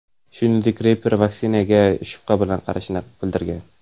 Shuningdek, reper vaksinatsiyaga shubha bilan qarashini bildirgan.